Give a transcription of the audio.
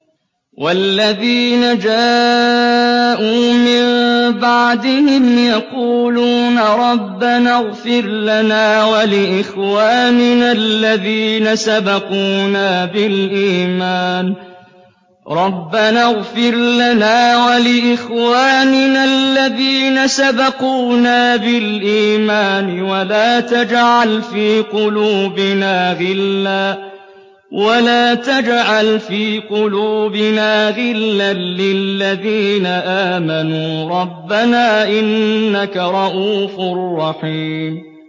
وَالَّذِينَ جَاءُوا مِن بَعْدِهِمْ يَقُولُونَ رَبَّنَا اغْفِرْ لَنَا وَلِإِخْوَانِنَا الَّذِينَ سَبَقُونَا بِالْإِيمَانِ وَلَا تَجْعَلْ فِي قُلُوبِنَا غِلًّا لِّلَّذِينَ آمَنُوا رَبَّنَا إِنَّكَ رَءُوفٌ رَّحِيمٌ